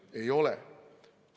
Ei ole.